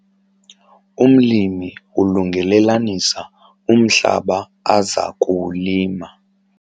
Umlimi ulungelelanisa umhlaba aza kuwulima.